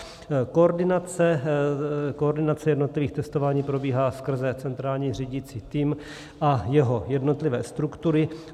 Koordinace jednotlivých testování probíhá skrze centrální řídící tým a jeho jednotlivé struktury.